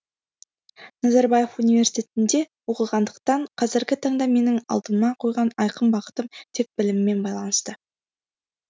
назарбаев университетінде оқығандықтан қазіргі таңда менің алдыма қойған айқын бағытым тек біліммен байланысты